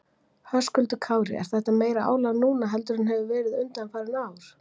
Höskuldur Kári: Er þetta meira álag núna heldur en hefur verið undanfarin ár?